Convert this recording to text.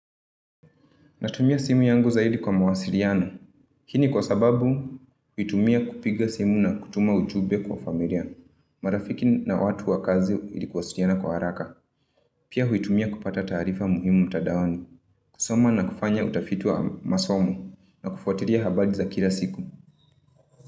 Natumia simu yangu zaidi kwa mawasiliano. Hii ni kwa sababu huitumia kupiga simu na kutuma ujumbe kwa familia. Marafiki na watu wa kazi ili kuwasiliana kwa haraka. Pia huitumia kupata taarifa muhimu mtandaoni. Kusoma na kufanya utafiti wa masomo na kufuatilia habari za kila siku.